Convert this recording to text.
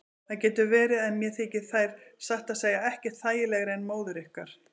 Það getur verið en mér þykir þær satt að segja ekkert þægilegri en móður ykkar.